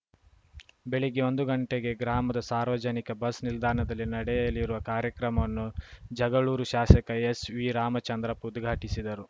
ಬೆಳಗ್ಗೆ ಒಂದು ಗಂಟೆಗೆ ಗ್ರಾಮದ ಸಾರ್ವಜನಿಕ ಬಸ್‌ ನಿಲ್ದಾಣದಲ್ಲಿ ನಡೆಯಲಿರುವ ಕಾರ್ಯಕ್ರಮವನ್ನು ಜಗಳೂರು ಶಾಶಕ ಎಸ್‌ವಿ ರಾಮಚಂದ್ರಪ್ಪ ಉದ್ಘಾಟಿಸಿದರು